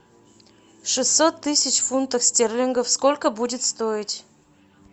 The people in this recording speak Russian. шестьсот тысяч фунтов стерлингов сколько будет стоить